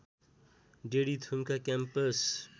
daddy Thumka campus